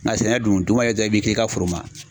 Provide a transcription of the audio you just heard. Nga sɛnɛ dun dugu mana jɛ i bi k'i ka foro